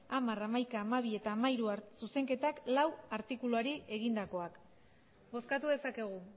hamar hamaika hamabi eta hamairu zuzenketak laugarrena artikuluari egindakoak bozkatu dezakegu